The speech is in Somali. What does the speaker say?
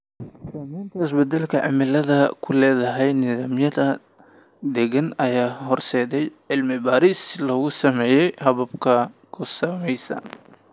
Saamaynta isbeddelka cimiladu ku leedahay nidaamyada deegaanka ayaa horseedaya cilmi baaris lagu sameeyo habab ku saleysan .